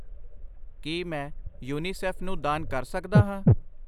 ਕਿ ਮੈਂ ਯੂਨੀਸੇਫ ਨੂੰ ਦਾਨ ਕਰ ਸਕਦਾ ਹਾਂ ?